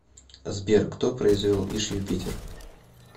сбер кто произвел иж юпитер